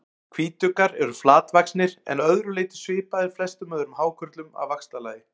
Hvítuggar eru flatvaxnir en að öðru leyti svipaðir flestum öðrum hákörlum að vaxtarlagi.